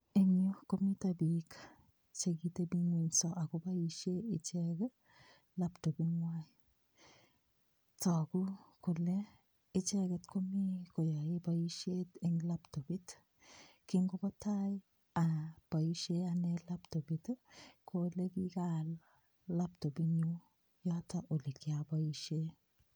Eng' yu komito biik chekiteping'wenso akoboishe ichek laptoping'wai toku kole ichek komi koyoei boishet eng' laptopit kingobo tai aboishe ane laptopit ko ole kikaal laptopinyu yoto ole kiaboishe